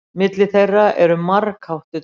Milli þeirra eru margháttuð tengsl.